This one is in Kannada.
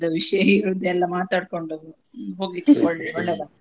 ವಿಷಯ ಇರುವುದೆಲ್ಲ ಮಾತಾಡ್ಕೊಂಡು ಹೋಗ್ಲಿಕ್ಕೆ ಒಳ್ಳೆ .